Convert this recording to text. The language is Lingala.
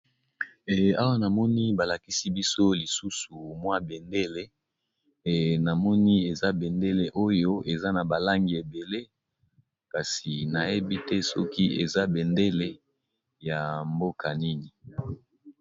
Awa namoni balakisi biso lisusu mwa bendele, namoni eza bendele oyo eza na balangi ebele kasi nayebi te soki eza bendele ya mboka nini.